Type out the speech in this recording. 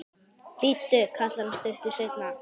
Bíddu, kallar hann stuttu seinna.